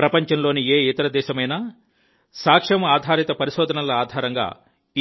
ప్రపంచంలోని ఏ ఇతర దేశమైనా సాక్ష్యం ఆధారిత పరిశోధనల ఆధారంగా